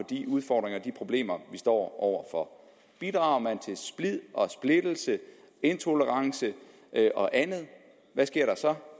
de udfordringer og de problemer vi står over for bidrager man til splid og splittelse intolerance og andet hvad sker der så